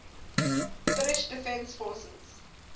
finnish defence forces